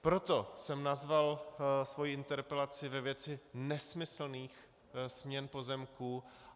Proto jsem nazval svoji interpelaci ve věci nesmyslných směn pozemků.